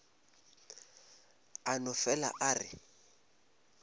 a no fele a re